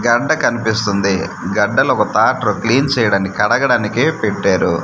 గడ్డ కనిపిస్తుంది గడ్డలో ఒక ట్రాక్టరు క్లీన్ చేయడానికి కడగడానికి పెట్టారు--